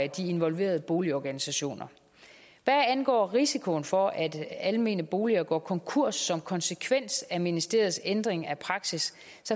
de involverede boligorganisationer hvad angår risikoen for at almene boliger går konkurs som konsekvens af ministeriets ændring af praksis